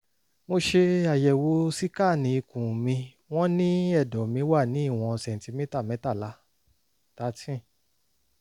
mo ṣe àyẹ̀wò síkáànì ikùn mi wọ́n ní ẹ̀dọ̀ mí wà ní ìwọ̀n sẹ̀ǹtímítà mẹ́tàlá thirteen